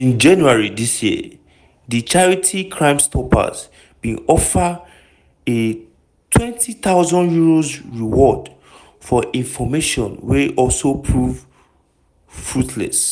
in january dis year di charity crimestoppers bin offer a £20000reward for information wey also prove fruitless.